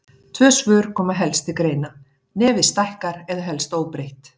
Tvö svör koma helst til greina: Nefið stækkar eða helst óbreytt.